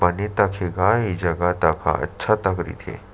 बने तक हे गा ये जगह तक ह अच्छा तक रहीथे।